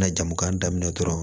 Na jamu kan daminɛ dɔrɔn